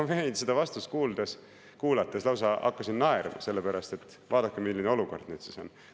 " Ma hakkasin seda vastust kuulates lausa naerma, sellepärast et vaadake, milline olukord nüüd on.